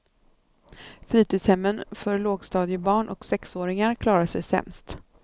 Fritidshemmen för lågstadiebarn och sexåringar klarar sig sämst.